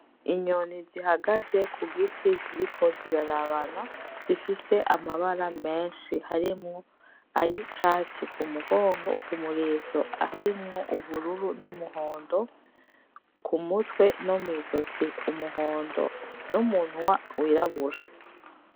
Inyoni zihagaze ku giti ziriko zirarabana zifise amabara menshi harimwo ayicatsi ku mugongo kumurizo harimwo ubururu n'umuhondo, ku mutwe no mwizosi umuhondo n'umunwa w'irabura.